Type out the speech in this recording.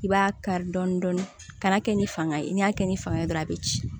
I b'a kari dɔɔnin dɔɔnin kana kɛ ni fanga ye ni y'a kɛ ni fanga ye dɔrɔn a bɛ ci